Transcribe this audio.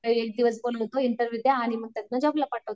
Interview होते मग त्यातनं जॉबला पाठवतो.